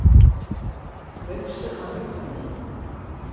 Laugstu að löggunni?